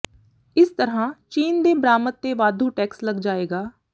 ਇਸ ਤਰ੍ਹਾਂ ਚੀਨ ਦੇ ਬਰਾਮਦ ਤੇ ਵਾਧੂ ਟੈਕਸ ਲੱਗ ਜਾਏਗਾ